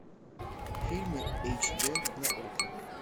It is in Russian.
фильмы эйч д на окко